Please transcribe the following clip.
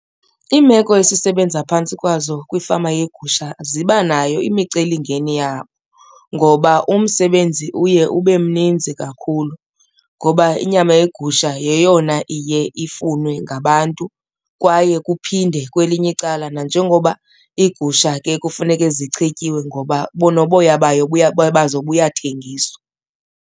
Iimeko esisebenza phantsi kwazo kwifama yegusha zibanayo imicelimngeni yabo ngoba umsebenzi uye ube mninzi kakhulu, ngoba inyama yegusha yeyona iye ifunwe ngabantu. Kwaye kuphinde kwelinye icala nanjengoba iigusha ke kufuneke zichetyiwe ngoba noboya bayo bazo buyathengiswa.